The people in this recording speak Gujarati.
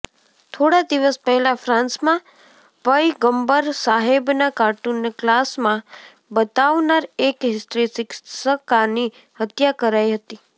થોડા દિવસ પહેલા ફ્રાન્સમાં પયગંબર સાહેબના કાર્ટૂનને ક્લાસમાં બતાવનાર એક હિસ્ટ્રી શિક્ષકાની હત્યા કરાઈ હતી